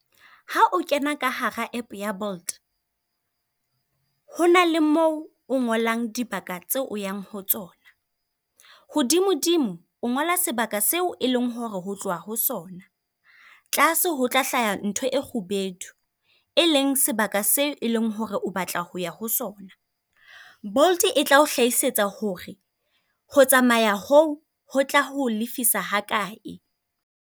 Ha o kena ka hara app ya Bolt, ho na le mo o ngolang dibaka tseo o yang ho tsona. Hodimodimo o ngola sebaka seo e leng hore ho tloha ho sona. Tlase ho tla hlaha ntho e kgubedu e leng sebaka se e leng hore o batla ho ya ho sona. Bolt e tla o hlahisetsa hore ho tsamaya ho ho tla ho lefisa ha kae.